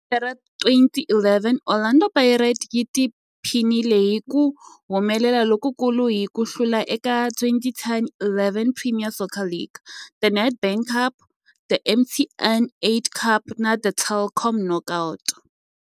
Hi lembe ra 2011, Orlando Pirates yi tiphinile hi ku humelela lokukulu hi ku hlula eka 2010-11 Premier Soccer League, The Nedbank Cup, The MTN 8 Cup na The Telkom Knockout.